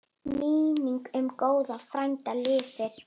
Minning um góðan frænda lifir.